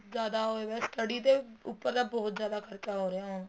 ਬਹੁਤ ਜਿਆਦਾ ਹੋਇਆ ਪਿਆ ਹੈ study ਤੇ ਉੱਪਰ ਤਾਂ ਬਹੁਤ ਜਿਆਦਾ ਖਰਚਾ ਹੋ ਰਿਹਾ ਹੈ ਹੁਣ